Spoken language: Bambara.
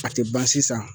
A tɛ ban sisan